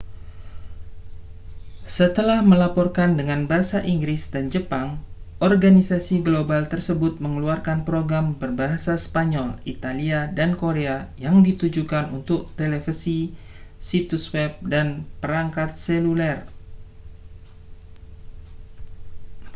setelah melaporkan dengan bahasa inggris dan jepang organisasi global tersebut mengeluarkan program berbahasa spanyol italia dan korea yang ditujukan untuk televisi situs web dan perangkat seluler